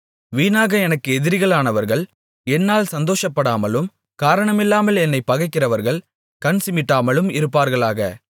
வீணாக எனக்கு எதிரிகளானவர்கள் என்னால் சந்தோஷப்படாமலும் காரணமில்லாமல் என்னைப் பகைக்கிறவர்கள் கண் சிமிட்டாமலும் இருப்பார்களாக